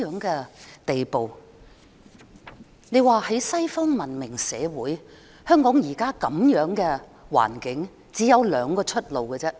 在西方文明社會，香港現在的環境只有兩條出路。